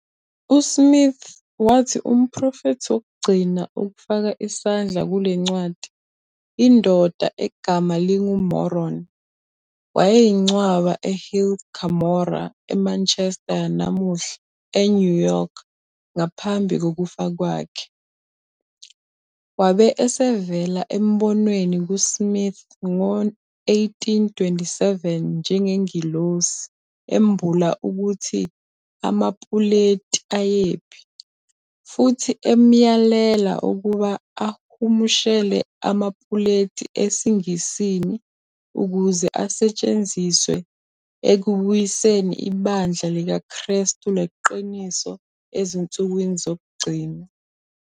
USmith wathi umprofethi wokugcina ukufaka isandla kule ncwadi, indoda egama linguMoroni, wayingcwaba eHill Cumorah eManchester yanamuhla, eNew York, ngaphambi kokufa kwakhe, wabe esevela embonweni kuSmith ngo-1827 njengengelosi, embula ukuthi amapuleti ayephi, futhi emyalela ukuba ahumushele amapuleti esiNgisini ukuze asetshenziswe ekubuyiseni ibandla likaKrestu leqiniso ezinsukwini zokugcina.